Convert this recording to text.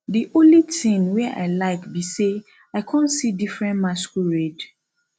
the only thing wey i like be say i come see different masquerade